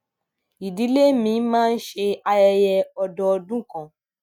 ìdílé mi máa ń ṣe ayẹyẹ ọdọọdún kan